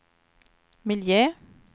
miljö